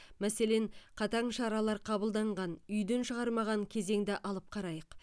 мәселен қатаң шаралар қабылданған үйден шығармаған кезеңді алып қарайық